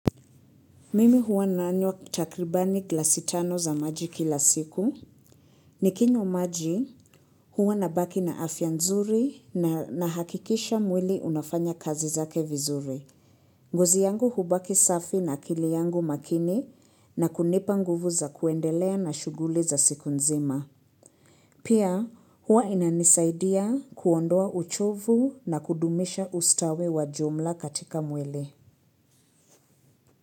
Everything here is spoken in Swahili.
Mimi huwa nanywa takribani glasi tano za maji kila siku. Nikinywa maji huwa nabaki na afya nzuri na nahakikisha mwili unafanya kazi zake vizuri. Ngozi yangu hubaki safi na akili yangu makini na kunipa nguvu za kuendelea na shuguli za siku nzima. Pia huwa inanisaidia kuondoa uchovu na kudumisha ustawe wa jumla katika mwili.